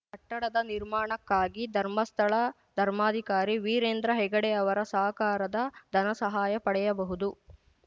ಕಟ್ಟಡದ ನಿರ್ಮಾಣಕ್ಕಾಗಿ ಧರ್ಮಸ್ಥಳ ಧರ್ಮಾಧಿಕಾರಿ ವೀರೇಂದ್ರ ಹೆಗ್ಗಡೆ ಅವರ ಸಹಕಾರದ ಧನಸಹಾಯ ಪಡೆಯಬಹುದು